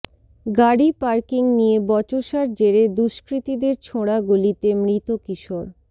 গাড়ি পার্কিং নিয়ে বচসার জেরে দুষ্কৃতীদের ছোঁড়া গুলিতে মৃত কিশোর